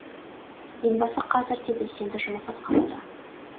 елбасы қазір де белсенді жұмыс атқаруда